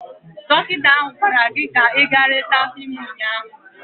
Dọkịta ahụ gwara gị ka ị gaa nleta afọ ime ụnyaahụ!